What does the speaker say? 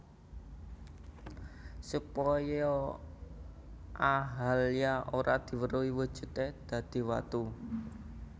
Supaya Ahalya ora diweruhi wujudé dadi watu